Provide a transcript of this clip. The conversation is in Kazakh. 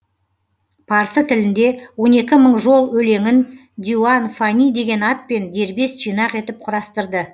парсы тілінде он екі мың жол өлеңін диуан фани деген атпен дербес жинақ етіп құрастырды